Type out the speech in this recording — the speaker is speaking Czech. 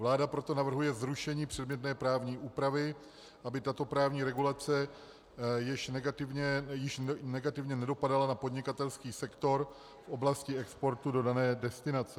Vláda proto navrhuje zrušení předmětné právní úpravy, aby tato právní regulace již negativně nedopadala na podnikatelský sektor v oblasti exportu do dané destinace.